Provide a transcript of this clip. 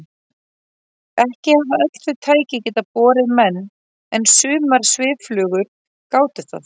Ekki hafa öll þau tæki getað borið menn en sumar svifflugur gátu það.